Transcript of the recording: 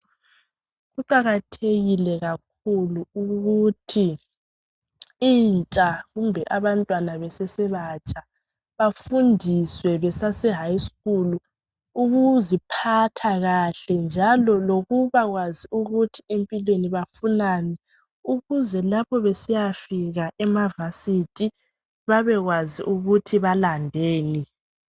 Kuqakathekile kakhulu ukuthi intsha kumbe abantwana besese batsha bafundiswe besase high school ukuziphatha kahle njalo lokuba kwazi ukuthi empilweni bafunani ukuze lapho besiyafika emakolitshini babekwazi ukuthi balandeni.